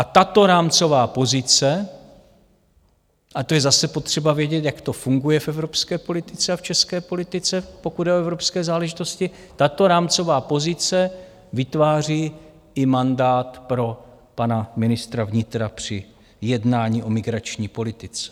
A tato rámcová pozice - a to je zase potřeba vědět, jak to funguje v evropské politice a v české politice, pokud jde o evropské záležitosti - tato rámcová pozice vytváří i mandát pro pana ministra vnitra při jednání o migrační politice.